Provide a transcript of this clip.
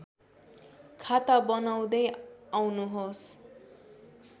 खाता बनाउँदै आउनुहोस्